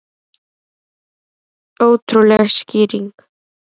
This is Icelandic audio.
Ótrúleg skýring